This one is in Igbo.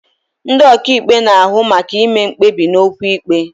Ndị ọkàikpe na-ahụ maka ime mkpebi n'okwu ikpe.